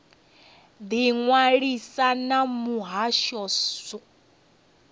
ḓi ṅwalisa na muhasho wa